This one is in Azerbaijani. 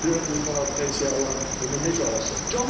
400 manat pensiya alan onu necə alsın?